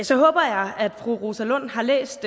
så håber jeg at fru rosa lund har læst